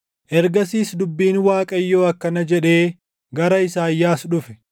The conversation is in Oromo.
Ergasiis dubbiin Waaqayyoo akkana jedhee gara Isaayyaas dhufe: